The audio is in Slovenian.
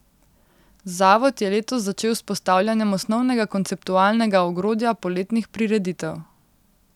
Zavod je letos začel s postavljanjem osnovnega konceptualnega ogrodja poletnih prireditev.